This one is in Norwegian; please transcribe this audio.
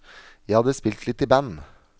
Jeg hadde spilt litt i band.